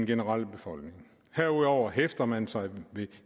generelt i befolkningen herudover hæfter man sig ved